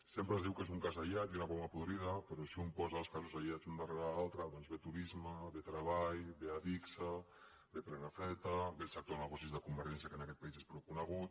sempre es diu que és un cas aïllat i una poma podrida però si un posa els casos aïllats un darrere l’altre doncs ve turisme ve treball ve adigsa ve prenafeta ve el sector negocis de convergència que en aquest país és prou conegut